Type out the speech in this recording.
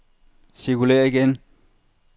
cirkulér igen